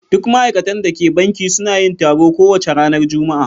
Duk ma'aikatan da ke banki suna yin taro kowace ranar Juma'a.